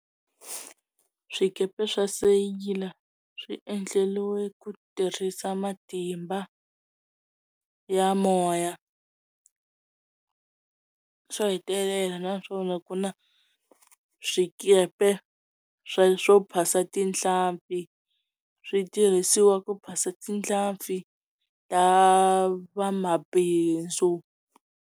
Swikepe swa seyila swi endleliwe ku tirhisa matimba ya moya xo hetelela na swona ku na swikepe swa swo phasa tinhlampfi switirhisiwa ku phasa tinhlampfi ta va mabindzu.